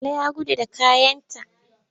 Bala ya gudu da kayanta.